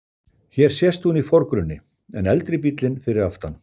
Hér sést hún í forgrunni, en eldri bíllinn fyrir aftan.